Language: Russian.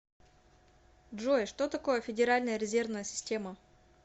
джой что такое федеральная резервная система